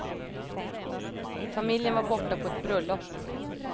Familjen var borta på ett bröllop.